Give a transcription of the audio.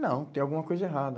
Não, tem alguma coisa errada.